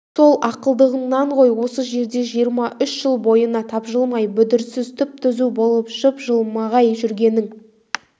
сол ақылдылығыңнан ғой осы жерде жиырма үш жыл бойына тапжылмай бүдірсіз түп-түзу болып жып-жылмағай жүргенің